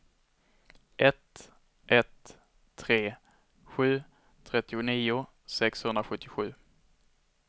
ett ett tre sju trettionio sexhundrasjuttiosju